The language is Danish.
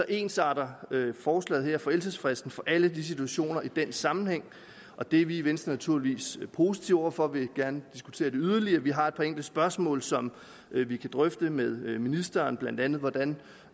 ensretter forslaget her forældelsesfristen for alle de situationer i den sammenhæng og det er vi i venstre naturligvis positive over for og vi vil gerne diskutere det yderligere vi har et par enkelte spørgsmål som vi kan drøfte med ministeren blandt andet hvordan